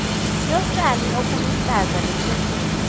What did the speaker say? yotshani obuluhlaza bekhethelo